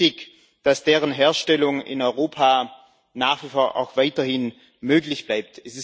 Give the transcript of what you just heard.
Mir ist wichtig, dass deren Herstellung in Europa nach wie vor auch weiterhin möglich bleibt.